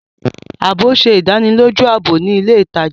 Ààbò ṣe ìdánilójú ààbò ni ilè ìtàjà.